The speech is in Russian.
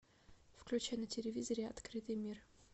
включи на телевизоре открытый мир